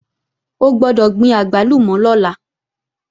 O gbọ́dọ̀ gbin àgbálùmọ̀ lọ́la!